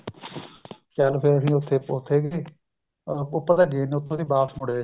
ਚੱਲ ਫ਼ੇਰ ਅਸੀਂ ਉੱਥੇ ਉੱਥੇ ਗਏ ਉੱਪਰ ਤਾਂ ਗਏ ਨੀ ਉੱਥੋਂ ਦੀ ਵਾਪਿਸ ਮੁੜ ਆਏ